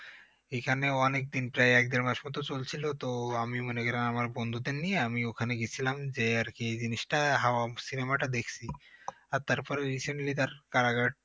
এখানে তো অনেকদিন প্রায় এক দেড় মাস মত চলছিল তো আমি মনে করেন আমার বন্ধুদের নিয়ে আমি ওখানে গেছিলাম যে আর কি এই জিনিসটা হওয়ার cinema টা দেখছি আর তারপরে ও recently তার কারাগার